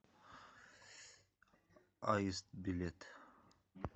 аист билет